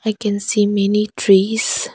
I can see many trees.